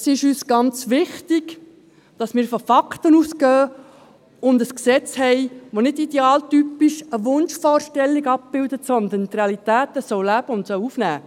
Es ist uns sehr wichtig, dass wir von Fakten ausgehen und ein Gesetz haben, das nicht idealtypisch eine Wunschvorstellung abbildet, sondern es soll die Realitäten leben und aufnehmen.